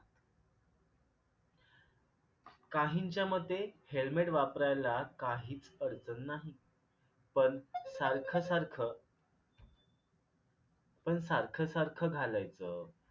काहींच्या मते helmet वापरायला काहीच अडचण नाही पन सारखं सारखं पन सारखं सारखं घालायच.